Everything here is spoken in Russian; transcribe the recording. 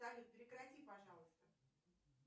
салют прекрати пожалуйста